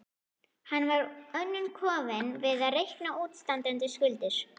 Hann var of önnum kafinn við að reikna útistandandi skuldir.